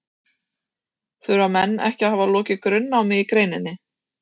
Þurfa menn ekki að hafa lokið grunnnámi í greininni?